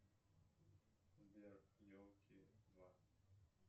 сбер елки два